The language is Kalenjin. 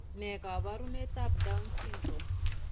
Ne kaabarunetap Down syndrome?